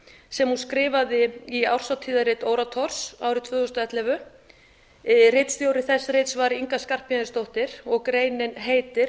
sem hún skrifaði í árshátíðarrit orators árið tvö þúsund og ellefu ritstjóri þess rits var inga skarphéðinsdóttir og greinin heitir